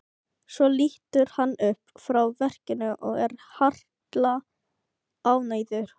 Svo lítur hann upp frá verkinu og er harla ánægður.